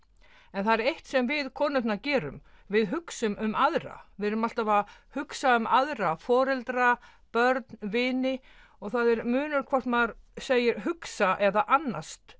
en það er eitt sem við konurnar gerum við hugsum um aðra við erum alltaf að hugsa um aðra foreldra börn vini og það er munur hvort maður segir hugsa eða annast